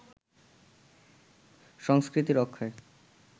সংস্কৃতি রক্ষার